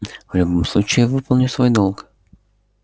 в любом случае я выполню свой долг